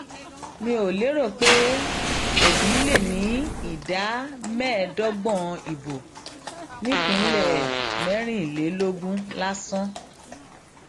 mi ò lérò pé òbí lè ní ìdá mẹẹẹdọgbọn ìbò nípínlẹ mẹrìnlélógún lásán